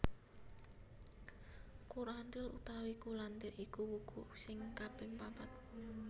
Kurantil utawa Kulantir iku wuku sing kaping papat